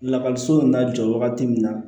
Lakɔliso la jɔ wagati min na